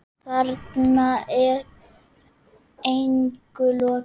Þarna er engu logið.